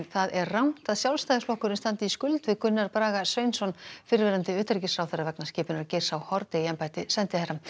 það er rangt að Sjálfstæðisflokkurinn standi í skuld við Gunnar Braga Sveinsson fyrrverandi utanríkisráðherra vegna skipunar Geirs h Haarde í embætti sendiherra